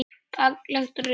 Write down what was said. Gagnleg rit